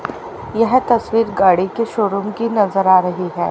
यह तस्वीर गाड़ी के शोरूम की नजर आ रही है।